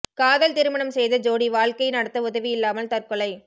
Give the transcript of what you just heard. காதல் திருமணம் செய்த ஜோடி வாழ்க்கை நடத்த உதவி இல்லாமல் தற்கொலை